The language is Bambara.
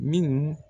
Minnu